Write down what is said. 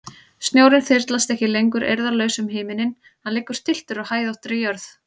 Snjórinn þyrlast ekki lengur eirðarlaus um himininn, hann liggur stilltur á hæðóttri jörð.